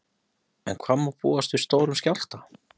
En hvað má búast við stórum skjálfta?